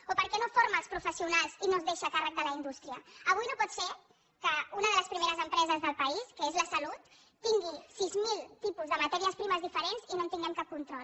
o per què no forma els professionals i no es deixa a càrrec de la indústria avui no pot ser que una de les primeres empreses del país que és la salut tingui sis mil tipus de matèries primeres diferents i no en tinguem cap control